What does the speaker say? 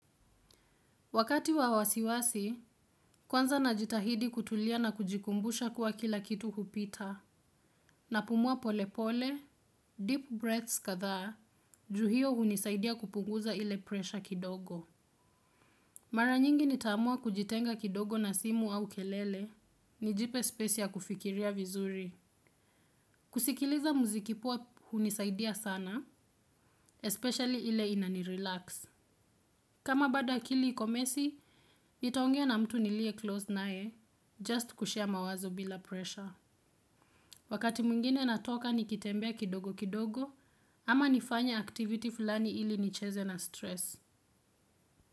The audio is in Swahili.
Wakati wa wasiwasi, kwanza najitahidi kutulia na kujikumbusha kuwa kila kitu hupita. Napumua pole pole, deep breaths kadhaa, juu hio hunisaidia kupunguza ile pressure kidogo. Mara nyingi nitaamua kujitenga kidogo na simu au kelele, nijipe space ya kufikiria vizuri. Kusikiliza muziki poa hunisaidia sana, especially ile inanirelax. Kama bado akili iko messy, nitaongea na mtu nilie close naye, just kushare mawazo bila pressure. Wakati mwingine natoka nikitembea kidogo kidogo, ama nifanye activity fulani ili nicheze na stress.